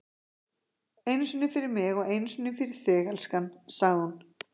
Einu sinni fyrir mig og einu sinni fyrir þig, elskan, sagði hún.